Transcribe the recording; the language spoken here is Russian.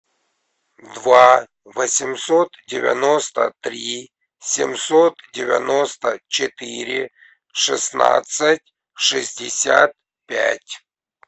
два восемьсот девяносто три семьсот девяносто четыре шестнадцать шестьдесят пять